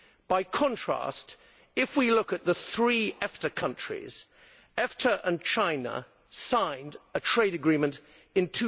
By contrast, if we look at the three EFTA countries, EFTA and China signed a trade agreement in